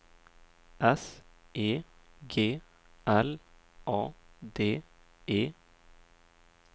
S E G L A D E